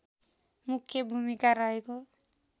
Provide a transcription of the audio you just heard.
मुख्य भूमिका रहेको